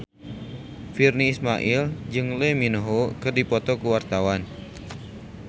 Virnie Ismail jeung Lee Min Ho keur dipoto ku wartawan